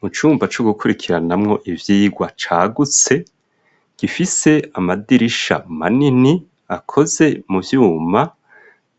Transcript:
Mu cumba co gukurikiranamwo ivyigwa cagutse gifise amadirisha manini akoze mu vyuma